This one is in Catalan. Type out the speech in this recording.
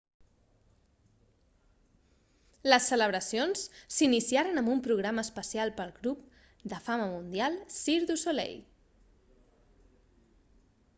les celebracions s'iniciaren amb un programa especial pel grup de fama mundial cirque du soleil